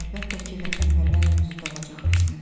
Əlbəttə ki, vətənpərvər mövzuda olacaq rəsmim.